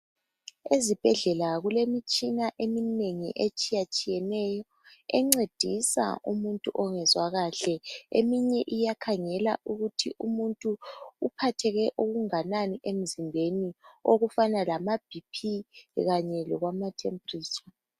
Ezibhedlela kulemitshina eminengi etshiya tshiyeneyo encedisa umuntu ongezwa kahle eminye iyakhangela ukuthi umuntu uphatheke okunganani emzimbeni okufana lama "BP" kanye lokwama "temperature".